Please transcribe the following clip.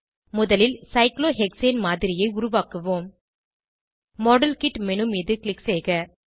முதலில் சைக்ளோஹெக்சேன் மாதிரியை உருவாக்குவோம் மாடல்கிட் மேனு மீது க்ளிக் செய்க